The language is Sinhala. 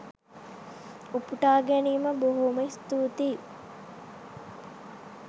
උපුටා ගැනීම බොහොම ස්තුති